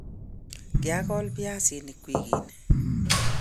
kiakol viazinik wikii nii